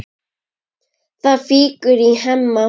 Það fýkur í Hemma.